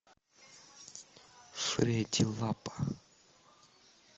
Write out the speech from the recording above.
фредди лапа